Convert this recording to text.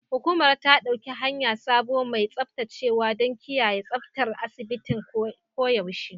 Hukumar ta ɗauki hayar sabon mai tsaftacewa don kiyaye tsaftar asibitin koyaushe.